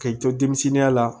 K'i to denmisɛnninya la